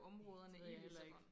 Næ det ved jeg heller ikke